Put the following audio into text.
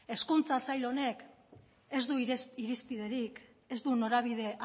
hezkuntza sail honek ez du irizpiderik ez du norabide